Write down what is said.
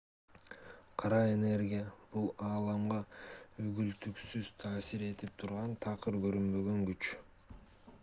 кара энергия бул ааламга үзгүлтүксүз таасир этип турган такыр көрүнбөгөн күч